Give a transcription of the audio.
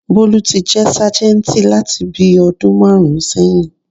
Bólú ti jẹ́ sájẹ̀ǹtì láti bíi ọdún márùn-ún sẹyìn